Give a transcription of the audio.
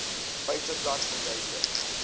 feiteblad verduidelik